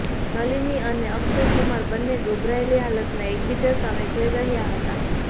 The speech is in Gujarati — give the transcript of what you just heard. નલિની અને અક્ષય કુમાર બંને ગભરાયેલી હાલતમાં એકબીજા સામે જોઈ રહ્યા હતા